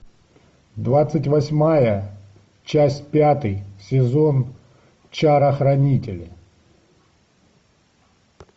двадцать восьмая часть пятый сезон чара хранители